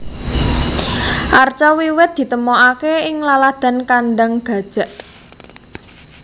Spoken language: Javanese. Arca wiwit ditemokaké ing laladan Kandang Gajak